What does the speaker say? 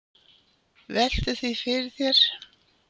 Veltu því fyrir þér.